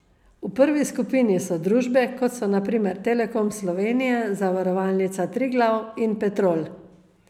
V prvi skupini so družbe, kot so na primer Telekom Slovenije, Zavarovalnica Triglav in Petrol.